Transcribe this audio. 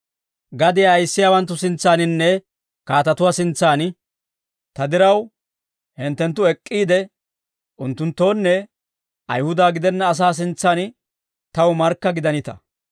Gadiyaa ayissiyaawanttu sintsaaninne kaatatuwaa sintsaan ta diraw hinttenttu ek'k'iide, unttunttoonne Ayihuda gidenna asaa sintsaan taw markka gidanita.